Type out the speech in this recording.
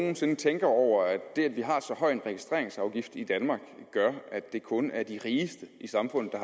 nogen sinde tænker over at det at vi har så høj en registreringsafgift i danmark gør at det kun er de rigeste i samfundet